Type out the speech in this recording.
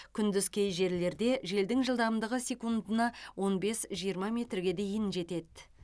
күндіз кей жерлерде желдің жылдамдығы секундына он бес жиырма метрге дейін жетеді